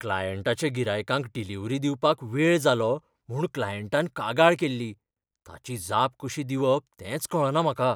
क्लायंटाच्या गिरायकांक डिलिवरी दिवपाक वेळ जालो म्हूण क्लायंटान कागाळ केल्ली, ताची जाप कशी दिवप तेंच कळना म्हाका.